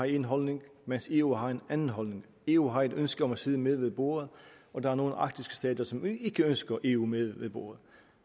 en holdning mens eu har en anden holdning eu har et ønske om at sidde med ved bordet og der er nogle arktiske stater som ikke ønsker eu med ved bordet